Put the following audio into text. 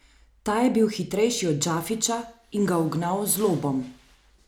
Ta je bil hitrejši od Džafića in ga ugnal z lobom.